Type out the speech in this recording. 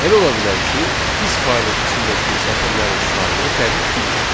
Elə ola bilər ki, biz faylın içindəki sətirlərin sayını dəqiq bilməyək.